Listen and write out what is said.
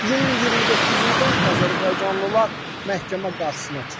İyunun 29-da azərbaycanlılar məhkəmə qarşısına çıxarılıb.